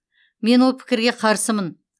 мен ол пікірге қарсымын